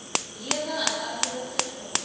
lewe uiteindelik verleng